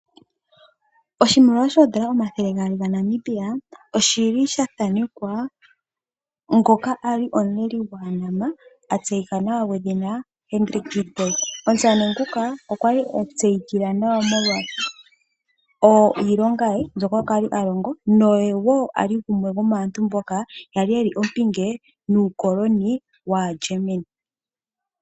Oshimaliwa shoondola omathele gaali gaNamibia oshi li sha thanekwa ngoka a li omuleli gwaaNama a tseyika nawa gwedhina Hendrik Witboi. Omusamane nguka okwa tseyika nawa molwa iilonga ye mbyoka a li alongo noye wo gumwe gomaantu mboka kwa li ye li ompinge nuukoloni waaGermany.